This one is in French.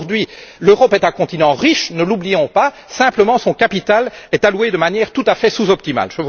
Aujourd'hui, l'Europe est un continent riche, ne l'oublions pas, simplement son capital est alloué de manière tout à fait sous optimale.